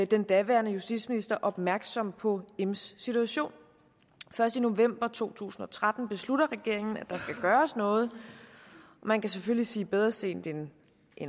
den daværende justitsminister opmærksom på ims situation og først i november to tusind og tretten beslutter regeringen at der skal gøres noget man kan selvfølgelig sige bedre sent end